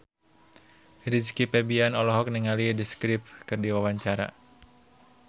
Rizky Febian olohok ningali The Script keur diwawancara